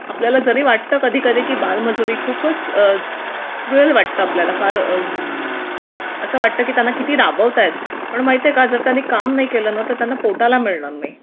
आपल्याला जरी वाटतं बालमजुरी खूपच क्रूवल वाटत आपल्याला फार असं वाटतं की आपल्याला किती राबवता येते त्यांना पण माहिती आहे का जर त्यांनी काम नाही केलं ना तर पोटाला मिळणार नाही